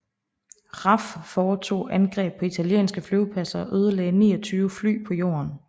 RAF foretog angreb på italienske flyvepladser og ødelagde 29 fly på jorden